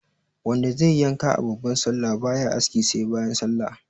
Wanda zaiyi yanka a babbar sallah baya aski sai bayan sallah